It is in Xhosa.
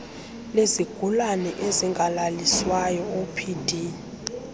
lezigulana ezingalaliswayo opd